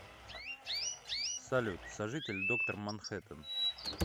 салют сожитель доктор манхэттан